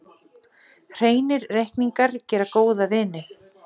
Hreinir reikningar gera góða vini.